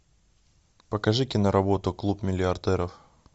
покажи киноработу клуб миллиардеров